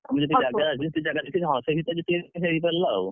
ଅଳ୍ପ, ଯେତିକି ଜାଗାଅଛି, ହଁ ସେ ଭିତରେ ଯେତିକି ହେଇ ପାରିଲା ଆଉ,